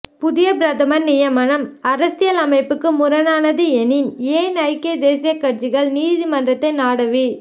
புதிய பிரதமர் நியமனம் அரசியல் அமைப்புக்கு முரணானது எனின் ஏன் ஐக்கிய தேசியக் கட்சி நீதிமன்றத்தை நாடவி